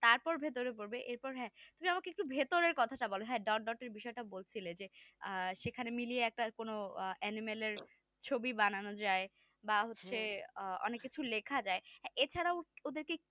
তারপর ভেতরে পড়বে এরপর হ্যাঁ তুমি একটু আমাকে ভেতরের কথা বল হ্যাঁ dot dot এর বিষয়টা বলছিলে যে সেখানে মিলিয়ে একটা কোন animal এর ছবি বানানো যায় বা হচ্ছে অনেক কিছু লেখা যায় এছাড়াও ওদেরকে